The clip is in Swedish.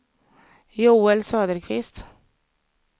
Joel Söderqvist